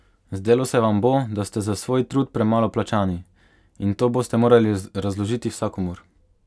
Zdelo se vam bo, da ste za svoj trud premalo plačani, in to boste morali razložiti vsakomur.